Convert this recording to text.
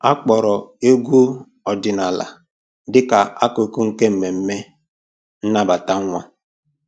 Akpọrọ egwu ọdịnala dịka akụkụ nke mmemme nnabata nwa.